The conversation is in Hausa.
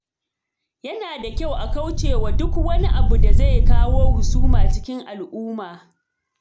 Yana da kyau a kauce wa duk wani abu da zai kawo husuma cikin al-umma